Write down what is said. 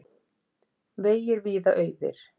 Vegir víða auðir